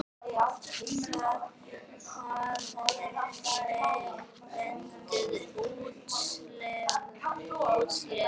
Hvað ræður úrslitum?